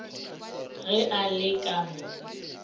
ge a le ka mo